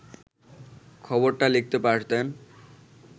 খবরটা লিখতে পারতেন